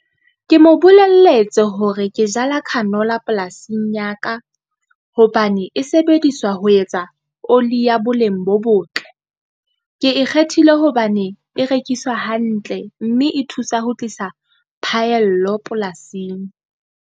Ke mo bolelletse hore ke jala canola polasing ya ka, hobane e sebediswa ho etsa oli ya boleng bo botle. Ke ikgethile hobane e rekisa hantle, mme e thusa ho tlisa phaello polasing.